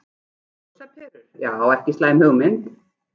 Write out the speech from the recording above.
Ljósaperur, já ekki slæm hugmynd.